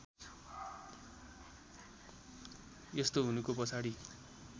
यस्तो हुनुको पछाडि